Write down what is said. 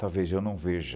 Talvez eu não veja.